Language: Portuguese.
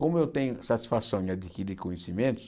Como eu tenho satisfação em adquirir conhecimentos,